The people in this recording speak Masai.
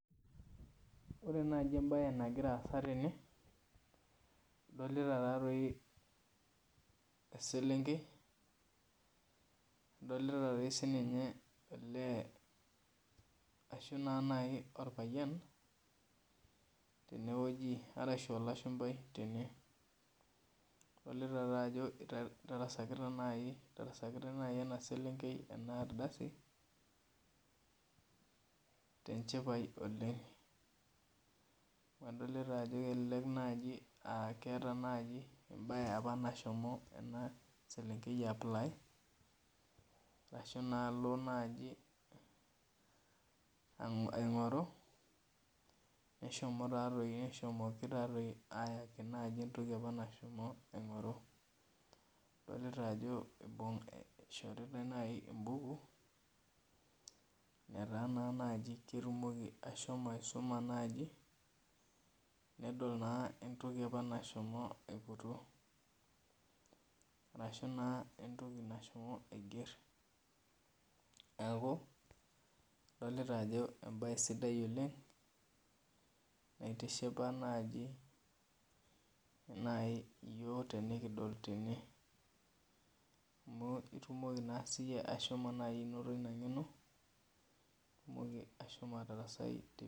Ore naji embae nagira aasa tene adolita taatoi eselenkei adolta sininye olee ashu orpayian ashu olashumbai tenewueji adolta ajo itarasaakitae nai enaselenkei enaardasi tenchipae oleng adolta ajoo keeta apa embae nashomo enaselenkei ai apply ashu nai alo naji aingoru neshomoki aya tenatoki nashomo aingoru adolta ajo isboritae nae mebuku ataa ketumoki isuma nedol ajo entoki apa nashomo atum ashu entoki nashomo aiger neaku adolta ajo embae sidai oleng naitishipa nai tenikidol tene amu itumokini na ashomo atarasai.